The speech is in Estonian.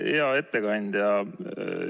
Hea ettekandja!